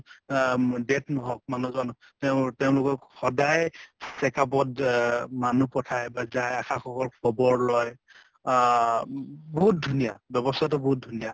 আহ অম death নহওঁক মানুহ জন তেওঁৰ তেওঁলোকৰ সদায় checkup ত আহ মানুহ পঠায় বা যায় ASHA সকল. খবৰ লয় আহ বহুত ধুনীয়া, ব্য়ৱস্থাটো বহুত ধুনীয়া